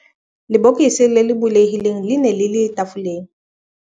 Lebokose le bulehileng le ne le le tafoleng.